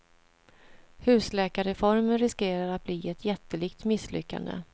Husläkarreformen riskerar att bli ett jättelikt misslyckande.